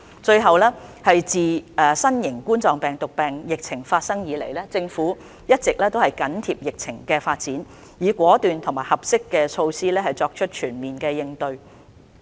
自新型冠狀病毒病疫情開始以來，政府一直緊貼疫情的發展，以果斷及合適的措施作全面應對。